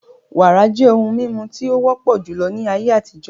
Wàrà jẹ́ ohun mímu tí o wọ́pọ̀ júlọ ní ayé àtijó